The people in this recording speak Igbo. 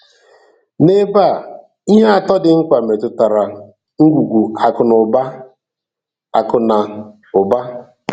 N’ebe a, ihe atọ dị mkpa metụtara ngwugwu akụ na ụba. akụ na ụba.